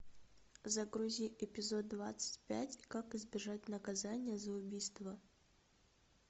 загрузи эпизод двадцать пять как избежать наказания за убийство